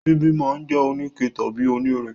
Ṣíbí máa jẹ́ oníke tàbí onírin.